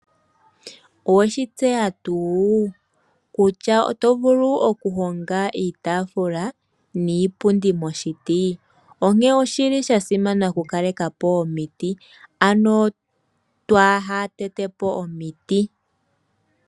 Owe shi tseya tuu kutya oto vulu okuhonga iitaafula niipundi moshiti? Onkene osha simana okukaleka po omiti, ano twaahatete po omiti.